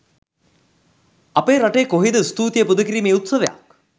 අපේ රටේ කොහේද ස්තුතියි පුද කිරීමේ උත්සවයක්.